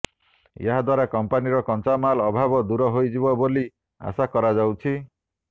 ଏହା ଦ୍ୱାରା କଂପାନିର କଞ୍ଚାମାଲ ଅଭାବ ଦୂର ହୋଇଯିବ ବୋଲି ଆଶା କରାଯାଉଛି